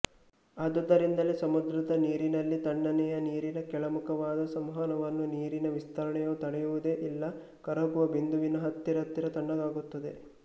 ಆದುದರಿಂದಲ್ಲೇ ಸಮುದ್ರದ ನೀರಿನಲ್ಲಿ ತಣ್ಣನೆಯ ನೀರಿನ ಕೆಳಮುಖವಾದ ಸಂವಹನವನ್ನು ನೀರಿನ ವಿಸ್ತರಣೆಯು ತಡೆಯುವುದೇ ಇಲ್ಲ ಕರಗುವ ಬಿಂದುವಿನ ಹತ್ತಿರತ್ತಿರ ತಣ್ಣಗಾಗುತ್ತದೆ